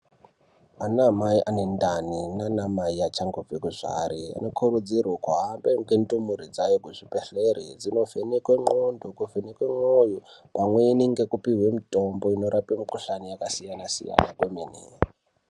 Ana mai ane ndani nana mai achangobve kuzvare anokurudzirwe kuhambe ngendumure dzawo kuzvibhedhlere dzinovhenek2e n'ondo dzovhenekwe mwoyo pamweni ngekupihwe mutombo unorape mukohlani yakasiyana siyana kwemene.